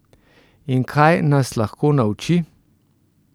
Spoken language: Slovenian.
In kaj nas lahko nauči?